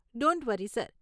don't worry sir